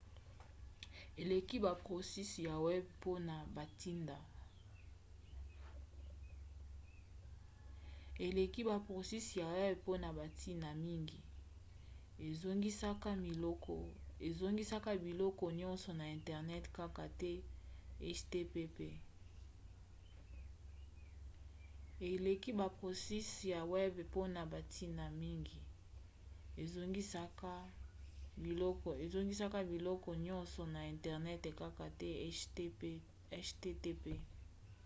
eleki ba proxys ya web mpona bantina mingi: ezongisaka biloko nyonso na internet kaka te http